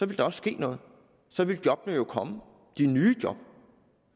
der også ske noget så ville jobbene komme de nye job